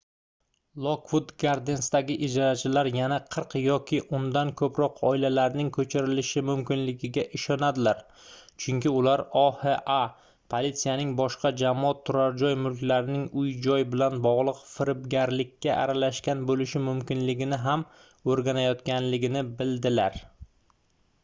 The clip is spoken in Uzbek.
lokvud gardensdagi ijarachilar yana 40 yoki undan koʻproq oilalarning koʻchirilishi mumkinligiga ishonadilar chunki ular oha politsiyasining boshqa jamoat turarjoy mulklarining uy-joy bilan bogʻliq firibgarlikka aralashgan boʻlishi mumkinligini ham oʻrganayotganligini bildilar